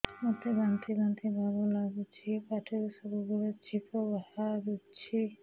ମୋତେ ବାନ୍ତି ବାନ୍ତି ଭାବ ଲାଗୁଚି ପାଟିରୁ ସବୁ ବେଳେ ଛିପ ବାହାରୁଛି